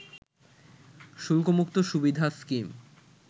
শুল্কমুক্ত সুবিধা স্কিম